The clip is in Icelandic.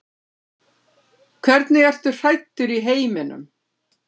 Hvernig ertu hræddur í heiminum?